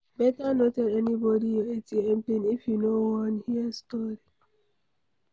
Beta no tell anybody your ATM pin if you no wan hear story